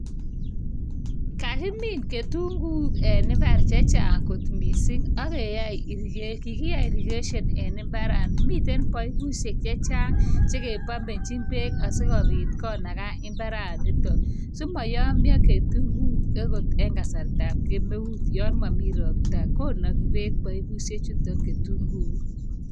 Kakimin ketunguuk en imbar chechang kot mising , ak kai kikiyai irrigation en imbar akomitei paipushek che chang cheke pumbonchin bek sikobit konaga imbaranitok simayomio ketunguuk eng kasartab kemeut, akot yon momi ropta konagii bek.